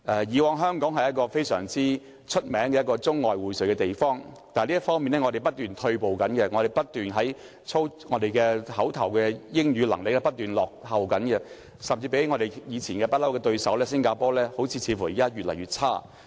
以往香港是出名的中外薈萃的地方，但我們在這方面不斷退步，我們的英語表達能力不斷落後，甚至比起一直以來的對手新加坡，似乎越來越差。